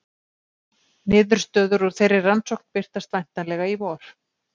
Niðurstöður úr þeirri rannsókn birtast væntanlega í vor.